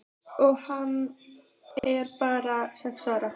Og hann er bara sex ára.